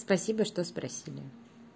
спасибо что спросили